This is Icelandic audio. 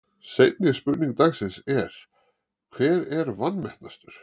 Seinni spurning dagsins er: Hver er vanmetnastur?